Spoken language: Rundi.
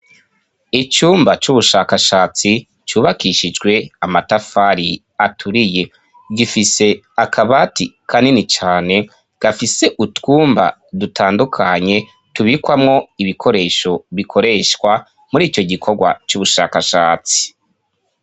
Icumba c'ubushakashatsi cubakishijwe amatafari aturiye gifise akabati ka nini cane gafise utwumba dutandukanye tubikwamwo ibikoresho bikoreshwa muri ico gikorwa c'ubushakashatsi.